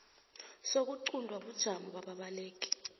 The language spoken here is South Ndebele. sokuquntwa kobujamo bababaleki